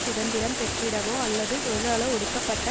சுதந்திரம் பெற்றுவிடவோ அல்லது தொழிலாள ஒடுக்கப்பட்ட